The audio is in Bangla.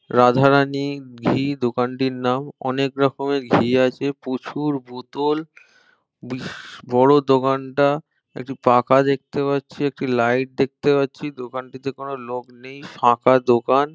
রাধারানী ঘি দোকানটির নাম। অনেক রকমের ঘি আছে প্রচুর বোতল । বড় দোকান টা একটি পাকা দেখতে পাচ্ছি একটি লাইট দেখতে পাচ্ছি। দোকান টি তে থেকে কোন লোক নেই ফাঁকা দোকান।